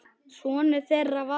Sonur þeirra var